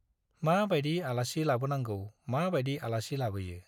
मा बायदि आलासि लाबोनांगौ मा बायदि आलासि लाबोयो।